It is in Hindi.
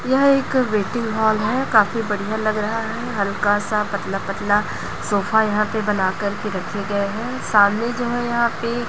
यह एक वेटिंग हाल है काफी बढ़िया लग रहा है हल्का सा पतला पतला सोफा यहां पे बनाकर के रखे गए हैं सामने जो है यहां पे--